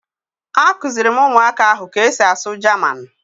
Akụziri m ụmụaka ahụ ka e si asụ Jaman